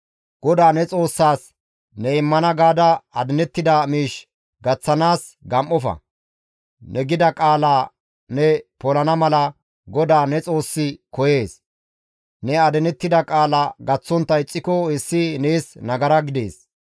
GODAA ne Xoossaas ne immana gaada adinettida miish gaththanaas gam7ofa; ne gida qaalaa ne polana mala GODAA ne Xoossi koyees; ne adinettida qaala gaththontta ixxiko hessi nees nagara gidees.